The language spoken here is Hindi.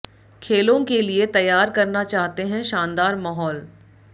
खेलों के लिए तैयार करना चाहते हैं शानदार माहौल